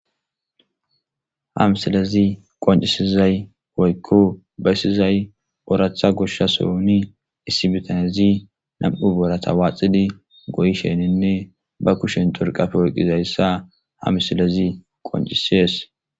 Hamsilezi qoncisizay woykko bayssizay oratha goshsha sohuni issibitanezi nam7u boorata waaxidi goyi shenninne ba kushen torqafe woyqizayssa hamsilezi qoncisees